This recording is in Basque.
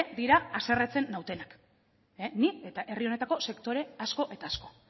dira haserretzen nautenak ni eta herri honetako sektore asko eta asko